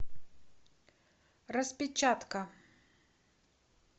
распечатка